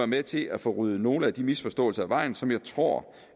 med til at få ryddet nogle af de misforståelser af vejen som jeg tror